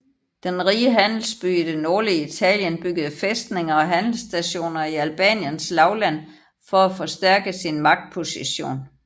Den rige handelsby i det nordlige Italien byggede fæstninger og handelsstationer i Albaniens lavland for at forstærke sin magtposition